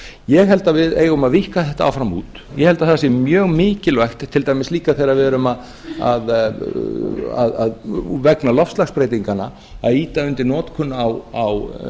ég held að við eigum að víkka þetta áfram út ég held að það sé mjög mikilvægt til dæmis líka þegar við erum vegna loftslagsbreytinganna að ýta undir notkun á